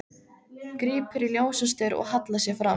Grípur í ljósastaur og hallar sér fram.